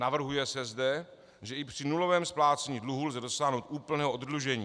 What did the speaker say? Navrhuje se zde, že i při nulovém splácení dluhů lze dosáhnout úplného oddlužení.